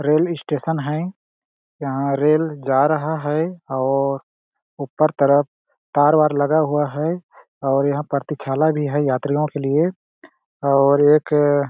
rail station है यहाँ rail जा रहा है और और ऊपर तरफ तार-वार लगा हुआ है और यहाँ प्रतीक्षालय भी है यात्रियों के लिए और एक --